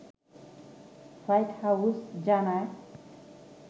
white House জানায়